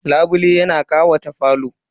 Labule yana ƙawata falo.